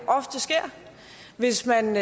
ofte sker hvis man